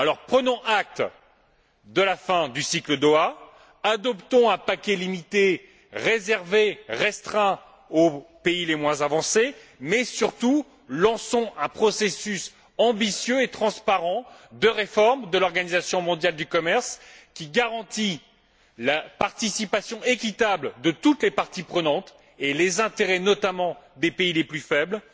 Prenons acte de la fin du cycle Doha, adoptons un paquet limité, réservé, restreint aux pays les moins avancés mais lançons surtout un processus ambitieux et transparent de réforme de l'Organisation mondiale du commerce, processus qui garantit la participation équitable de toutes les parties prenantes et les intérêts, notamment des pays les plus faibles